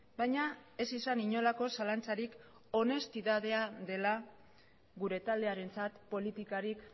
baina ez izan inolako zalantzarik honestidadea dela gure taldearentzat politikarik